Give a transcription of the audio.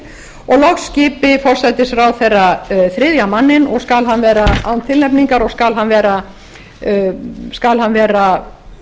og loks skili forsætisráðherra þriðja manninn og skal hann vera án tilnefningar og skal hann vera